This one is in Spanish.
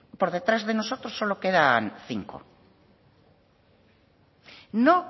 por detrás de nosotros solo quedan cinco no